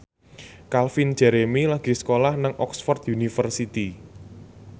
Calvin Jeremy lagi sekolah nang Oxford university